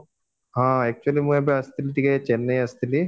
actually ମୁଁ ଏବେ ଆସିଥିଲି ଟିକେ ଚେନ୍ନାଇ ଆସିଥିଲି